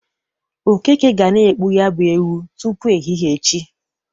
Okeke ga na-egbu ya bụ ewu tupu ehihe echi.